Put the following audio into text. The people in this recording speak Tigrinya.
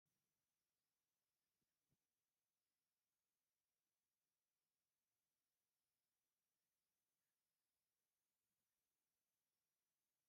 ቅርሳዊ ዝኮነ እምኒ ተገዲሙ ኣሎ ኣብ ጫፉ ተሰቢሩ አሎ ኣብ ዝርይኡ ሳዕሪ ኣሎ ። እዚ ታሪካዊ ቦታ ኣበይ እዩ ?